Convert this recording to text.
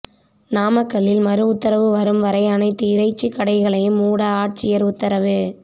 நாமக்கல்லில் மறு உத்தரவு வரும் வரை அனைத்து இறைச்சிக்கடைகளையும் மூட ஆட்சியர் உத்தரவு